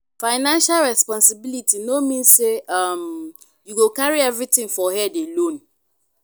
financial responsibility no mean say um you go carry everything for head alone.